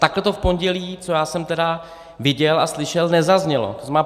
Takhle to v pondělí, co já jsem tedy viděl a slyšel, nezaznělo.